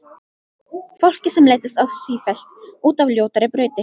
Fólki sem leiddist sífellt út á ljótari brautir.